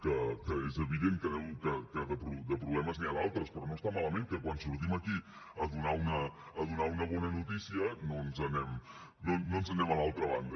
que és evident que de problemes n’hi ha d’altres però no està malament que quan sortim aquí a donar una bona notícia no ens n’anem a l’altra banda